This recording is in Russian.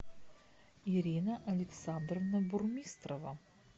ирина александровна бурмистрова